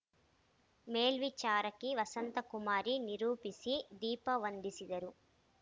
ಮೇಲ್ವಿಚಾರಕಿ ವಸಂತಕುಮಾರಿ ನಿರೂಪಿಸಿ ದೀಪ ವಂದಿಸಿದರು